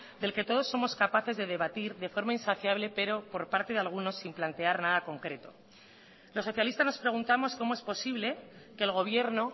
del que todos somos capaces de debatir de forma insaciable pero por parte de algunos sin plantear nada concreto los socialistas nos preguntamos cómo es posible que el gobierno